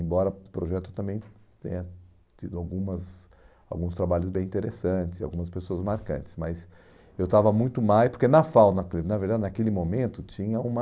Embora projeto também tenha tido algumas alguns trabalhos bem interessantes, algumas pessoas marcantes, mas eu estava muito mais, porque na FAU, naquele, na verdade, naquele momento, tinha uma...